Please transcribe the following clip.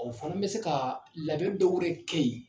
O fana bɛ se ka labɛn dɔw re kɛ in